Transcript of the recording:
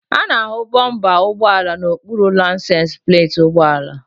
A na-ahụ bọmpa ụgbọala n'okpuru laisensi pleeti ụgbọala.